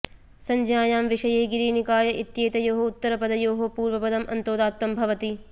संज्ञायां विषये गिरि निकाय इत्येतयोः उत्तरपदयोः पूर्वपदम् अन्तोदात्तं भवति